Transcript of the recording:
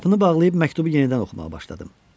Qapını bağlayıb məktubu yenidən oxumağa başladım.